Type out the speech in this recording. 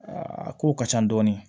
Aa a kow ka ca dɔɔni